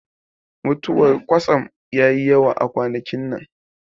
Mutuwar kwatsam yayi yawa kwanakin nan